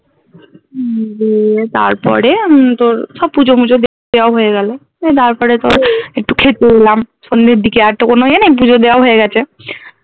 উম দিয়ে তারপরে উম তোর সব পুজো মুজো দেওয়া হয়ে গেলো এই তারপরে তোর একটু খেতে এলাম সন্ধের দিকে আর তো কোনো য়ে নেই পুজো দেওয়া হয়ে গেছে